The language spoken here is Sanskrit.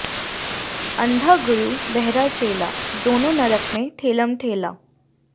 अन्धा गुरु बहरा चेला दोनों नरक में ठेलम ठेला